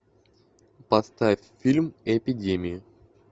поставь фильм эпидемия